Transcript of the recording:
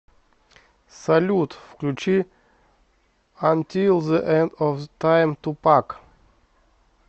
салют включи антил зэ энд оф тайм тупак